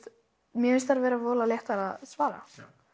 mér finnst þær vera voðalega léttar að svara